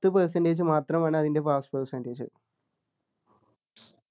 പത്ത് percentage മാത്രമാണ് അതിൻ്റെ pass percentage